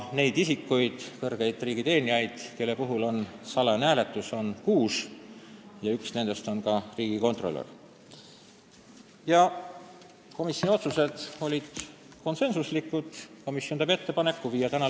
Neid isikuid, kõrgeid riigiteenijaid, kelle puhul tuleb teha salajane hääletus, on kuus, ja üks nendest on riigikontrolör.